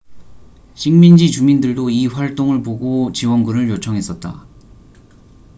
식민지 주민들도 이 활동을 보고 지원군을 요청했었다